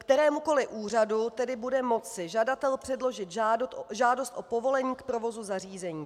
Kterémukoli úřadu tedy bude moci žadatel předložit žádost o povolení k provozu zařízení.